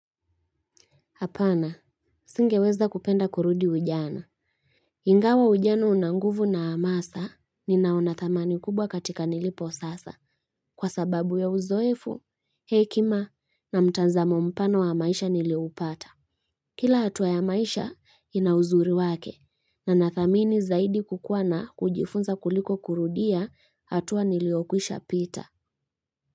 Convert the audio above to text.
Apana, singeweza kupenda kurudi ujana. Ingawa ujana una nguvu na amasa, ninaona thamani kubwa katika nilipo sasa, kwa sababu ya uzoefu, hekima, na mtanzamo mpano wa maisha niliupata. Kila hatuwa ya maisha, ina uzuri wake, na nathamini zaidi kukuwa na kujifunza kuliko kurudia hatuwa niliokuisha pita.